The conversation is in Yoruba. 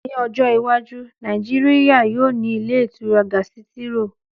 Ní ọjọ́ iwájú, Nàìjíríyà yóò ní ilé ìtura gásítírò